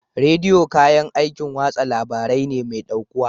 Rediyo kayan aikin watsa labarai ne mai ɗaukuwa.